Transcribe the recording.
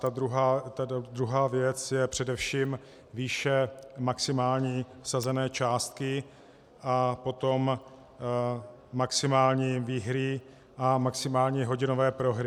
Ta druhá věc je především výše maximální vsazené částky a potom maximální výhry a maximální hodinové prohry.